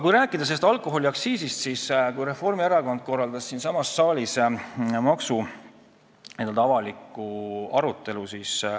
Kui veel sellest alkoholiaktsiisist rääkida, siis Reformierakond korraldas ju siinsamas saalis avaliku maksuarutelu.